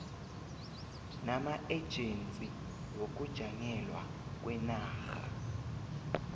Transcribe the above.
namaejensi wokujanyelwa kwenarha